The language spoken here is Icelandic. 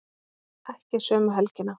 Ekki sömu helgina.